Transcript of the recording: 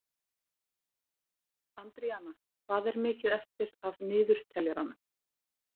Andríana, hvað er mikið eftir af niðurteljaranum?